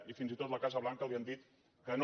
i fins i tot a la casa blanca li han dit que no